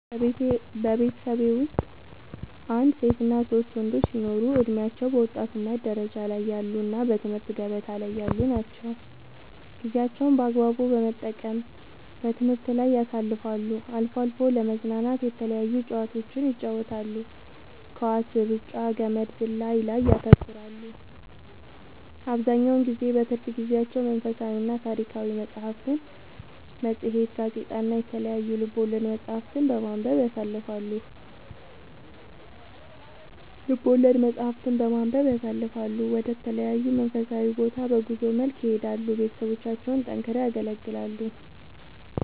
በቤተሠቤ ወስጥ አንድ ሴትና ሶስት ወንዶች ሲኖሩ እድሜያቸው በወጣትነት ደረጃ ላይ ያሉ እና በትምህርት ገበታ ላይ ያሉ ናቸው ጌዜያቸውን በአግባቡ በመጠቀም በትምህርት ላይ ያሳልፋሉ አልፎ አልፎ ለመዝናናት የተለያዩ ጨዋታዎችን ይጫወታሉ ኳስ ,እሩጫ ,ገመድ ዝላይ ላይ ያተኩራሉ አብዛኛውን ጊዜ በትርፍ ጊዜያቸው መንፈሳዊና ታሪካዊ መፅሐፍትን ,መፅሄት ,ጋዜጣ እና የተለያዩ ልቦለድ መፅሐፍትን በማንበብ ያሣልፈሉ ወደ ተለያዩ መንፈሳዊ ቦታ በጉዞ መልክ ይሄዳሉ ቤተሠቦቻቸውን ጠንክረው ያገለግላሉ